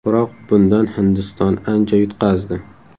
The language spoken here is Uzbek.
Biroq bundan Hindiston ancha yutqazdi.